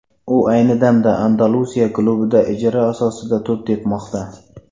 U ayni damda Andalusiya klubida ijara asosida to‘p tepmoqda.